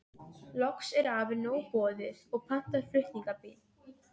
Loks er afa nóg boðið og pantar flutningabíl.